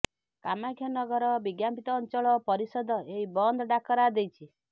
କାମାକ୍ଷାନଗର ବିଜ୍ଞାପିତ ଅଞ୍ଚଳ ପରିଷଦ ଏହି ବନ୍ଦ ଡାକରା ଦେଇଛି